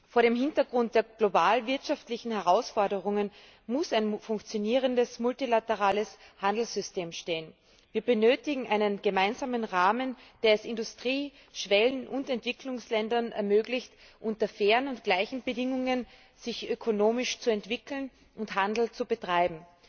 Vor dem Hintergrund der globalen wirtschaftlichen Herausforderungen muss ein funktionierendes multilaterales Handelssystem stehen. Wir benötigen einen gemeinsamen Rahmen, der es Industrie Schwellen und Entwicklungsländern ermöglicht, sich unter fairen und gleichen Bedingungen ökonomisch zu entwickeln und Handel zu betreiben.